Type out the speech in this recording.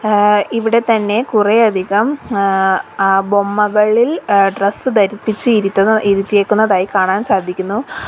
ഏഹ് ഇവിടെത്തന്നെ കുറെയധികം ഏഹ് ആ ബൊമ്മകളിൽ എഹ് ഡ്രസ്സ് ധരിപ്പിച്ച് ഇരുത്തുന്ന ഇരുത്തിയേക്കുന്നതായി കാണാൻ സാധിക്കുന്നു.